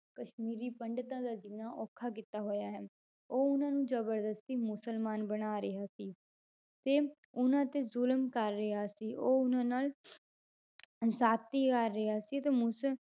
ਕਸ਼ਮੀਰੀ ਪੰਡਿਤਾਂ ਦਾ ਜਿਉਣਾ ਔਖਾ ਕੀਤਾ ਹੋਇਆ ਹੈ, ਉਹ ਉਹਨਾਂ ਨੂੰ ਜ਼ਬਰਦਸ਼ਤੀ ਮੁਸਲਮਾਨ ਬਣਾ ਰਿਹਾ ਸੀ, ਤੇ ਉਹਨਾਂ ਤੇ ਜ਼ੁਲਮ ਕਰ ਰਿਹਾ ਸੀ, ਉਹ ਉਹਨਾਂ ਨਾਲ ਜਾਤੀ ਕਰ ਰਿਹਾ ਸੀ ਤੇ ਮੁਸਲ~